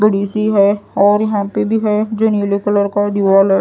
बड़ी सी है और यहां पे भी है जो नीले कलर का दीवाल --